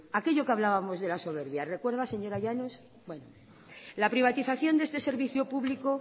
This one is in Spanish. aquello que hablábamos de la soberbia lo recuerda señora llanos la privatización de este servicio público